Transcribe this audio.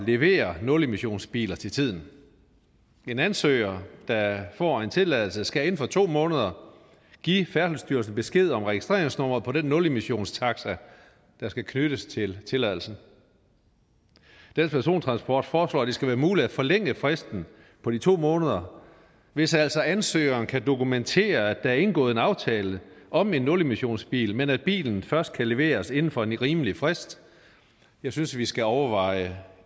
levere nulemissionsbiler til tiden en ansøger der får en tilladelse skal inden for to måneder give færdselsstyrelsen besked om registreringsnummeret på den nulmissionstaxa der skal knyttes til tilladelsen dansk persontransport foreslår at det skal være muligt at forlænge fristen på de to måneder hvis altså ansøgeren kan dokumentere at er indgået en aftale om en nulmissionsbil men at bilen først kan leveres inden for en rimelig frist jeg synes vi skal overveje